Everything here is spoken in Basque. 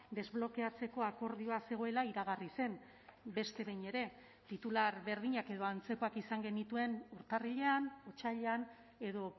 desblokeatzeko akordioa zegoela iragarri zen beste behin ere titular berdinak edo antzekoak izan genituen urtarrilean otsailean edo